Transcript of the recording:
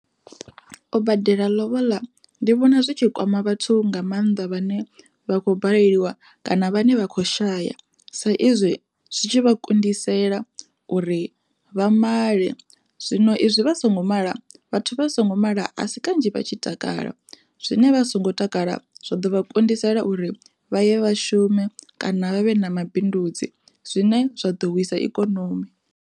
U badela lobola ndi vhona zwitshi kwama vhathu nga mannḓa vhane vha khou baleliwa kana vhane vha khou shaya, sa izwi zwi tshi vha kundisela uri vha maḽe zwino izwi vha songo mala vhathu vha songo mala a si kanzhi vha tshi takala, zwine vha songo takala zwa ḓovha kundisela uri vhaye vha shume kana vha vhe na mabindudzi zwine zwa ḓo wisa ikonomi.